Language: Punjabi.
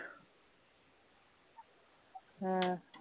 ਹਾਂ